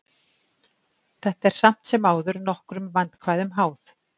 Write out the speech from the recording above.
Þetta er samt sem áður nokkrum vandkvæðum háð.